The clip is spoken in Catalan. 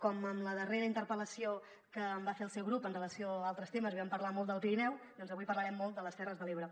com en la darrera interpel·lació que em va fer el seu grup amb relació a altres temes vam parlar molt del pirineu doncs avui parlarem molt de les terres de l’ebre